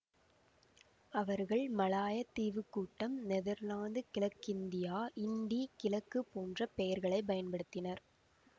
அவர்கள் மலாயத் தீவு கூட்டம் நெதர்லாந்துக் கிழக்கிந்தியா இண்டீ கிழக்கு போன்ற பெயர்களைப் பயன்படுத்தினர்